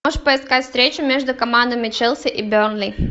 можешь поискать встречу между командами челси и бернли